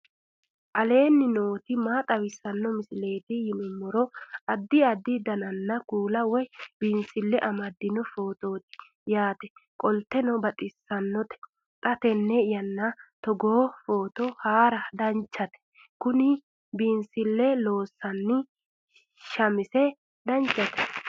aleenni nooti maa xawisanno misileeti yinummoro addi addi dananna kuula woy biinsille amaddino footooti yaate qoltenno baxissannote xa tenne yannanni togoo footo haara danchate kuni biifinse loonsonni shamise danchate